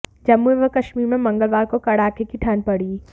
जम्मू एवं कश्मीर में मंगलवार को कड़ाके की ठंड पड़ी